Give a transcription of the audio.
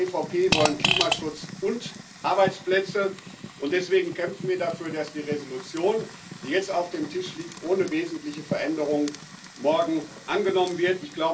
Wir als EVP wollen Klimaschutz und Arbeitsplätze, und deswegen kämpfen wir dafür, dass die Entschließung, die jetzt auf dem Tisch liegt, morgen ohne wesentliche Veränderung angenommen wird.